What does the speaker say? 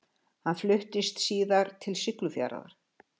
Hann fluttist síðar til Siglufjarðar.